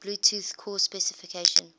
bluetooth core specification